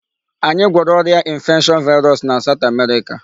Anyị gwọrọ ọrịa infection virus na South America.